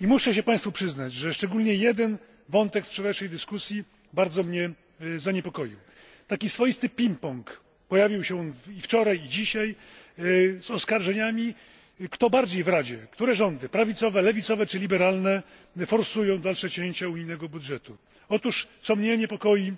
I muszę się Państwu przyznać, że szczególnie jeden wątek z wczorajszej dyskusji bardzo mnie zaniepokoił. Taki swoisty ping pong pojawił się i wczoraj, i dzisiaj, z oskarżeniami, kto bardziej w Radzie, które rządy prawicowe, lewicowe czy liberalne forsują dalsze cięcia unijnego budżetu. Otóż niepokoi mnie